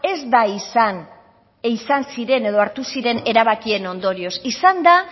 ez da izan izan ziren edo hartu ziren erabakien ondorioz izan da